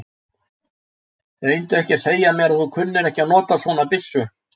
Reyndu ekki að segja mér að þú kunnir ekki að nota svona byssu.